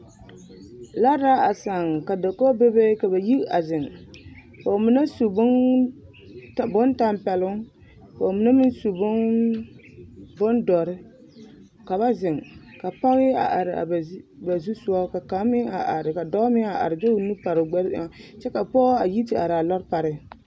Lɔre la a sãã ka dakogi bebe ka ba yi a zeŋ ka bamine su bontampɛloŋ ka bamine meŋ su bondɔre ka ba zeŋ ka pɔge a are a ba zusogɔ ka kaŋ meŋ a are ka dɔɔ meŋ a are de o nu pare a gbɛre eŋɛ kyɛ ka pɔge a yi te are a lɔre pare.